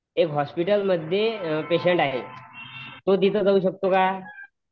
एक हॉस्पिटल मध्ये पेंशट आहे तो तिथं जाऊ शकतो का?